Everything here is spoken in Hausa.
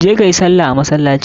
Je kayi sallah a masalaci!